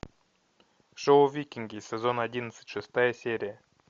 шоу викинги сезон одиннадцать шестая серия